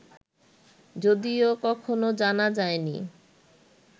যদিও কখনও জানা যায়নি